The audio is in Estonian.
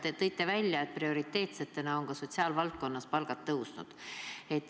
Te tõite välja, et prioriteetsetena on ka sotsiaalvaldkonnas palgad tõusnud.